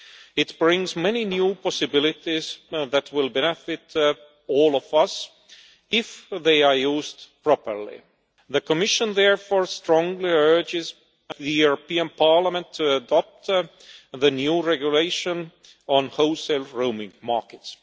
It brings many new possibilities that will benefit all of us, if they are used properly. The Commission therefore strongly urges the European Parliament to adopt the new regulation on wholesale roaming markets.